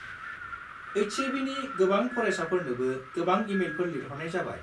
HAB नि गोबां फरायसाफोरनोबो गोबां इमेलफोर लिरहरनाय जाबाय।